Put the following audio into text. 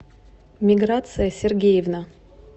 миграция сергеевна